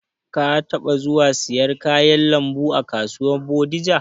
Ka taɓa zuwa siyan kayan lambu a kasuwar Bodija?